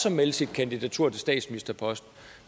at melde sit kandidatur til statsministerposten